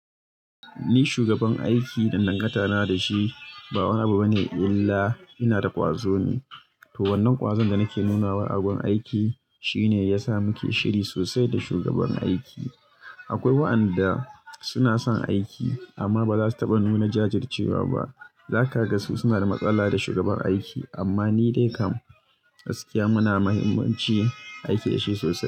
Ni shugaban aiki dangantana da shi ba wani abu bane illa ina da ƙwazo ne. To wannan ƙwazon da nake nunawa a gon aiki shine ya sa muke shiri sosai da shugaban aiki. Akwai waɗanda suna son aiki amma ba za su taɓa nuna jajircewa ba. Za ka ga su suna da matsala da shugaban aiki amma ni dai kam gaskiya muna da muhimmanci aiki da shi sosai.